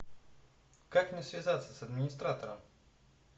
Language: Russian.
как мне связаться с администратором